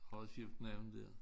Har skiftet navn dér